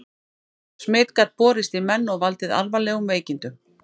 smit gat borist í menn og valdið alvarlegum veikindum